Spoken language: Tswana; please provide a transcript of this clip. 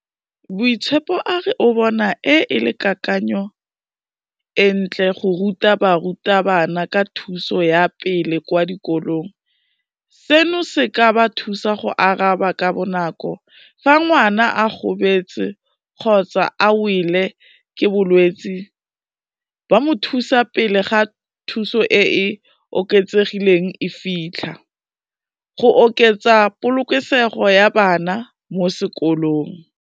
Boitshepo a re o bona e, e le kakanyo e ntle go ruta barutabana ka thuso ya pele kwa dikolong, seno se ka ba thusa go araba ka bonako fa ngwana a gobetse kgotsa a wele ke bolwetsi, ba mo thusa pele ga thuso e e oketsegileng e fitlha, go oketsa polokesego ya bana mo sekolong.